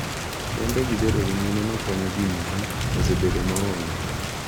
Kendo gi bedo ni mine makonyo ji nyuol osebedo maonge.